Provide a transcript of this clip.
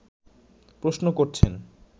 প্রশ্ন করছেন